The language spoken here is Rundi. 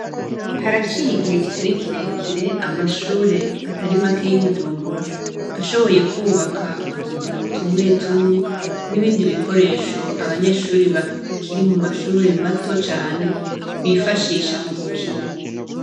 Haraciye igihe kitari kirekire amashure atari make y’I bujumbura ashoboye kubaka utuzu tumwe tumwe nibindi bikoresho abanyeshure bakiri mu mashure mato cane bifashisha mu gukina.